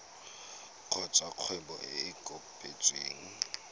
kgotsa kgwebo e e kopetsweng